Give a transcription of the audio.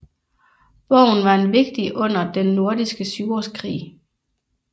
Borgen var en vigtig under Den Nordiske Syvårskrig